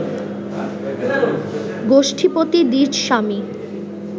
গোষ্ঠীপতি দ্বিজস্বামী